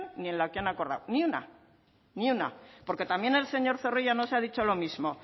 ni en la que han acordado ni una ni una porque también el señor zorrilla nos ha dicho lo mismo